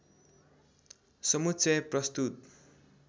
समुच्चय प्रस्तुत